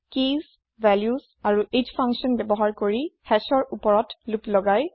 কি ভেল্যু আৰু hash function ব্যৱহাৰ কৰি hashৰ ওপৰত লোপ লগাই